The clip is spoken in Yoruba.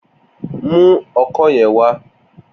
Mu ọkọ́ yẹn wá!